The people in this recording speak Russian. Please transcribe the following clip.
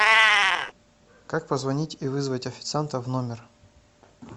как позвонить и вызвать официанта в номер